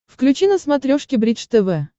включи на смотрешке бридж тв